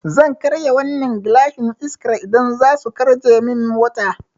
Zan karya wannan gilashin Iskar idan zasu karce min mota